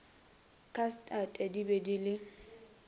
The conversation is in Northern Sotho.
khastate di be di le